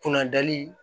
Kunnadali